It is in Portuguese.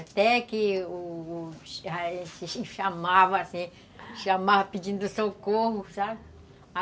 Até que o o gente chamava, assim, pedindo socorro, sabe?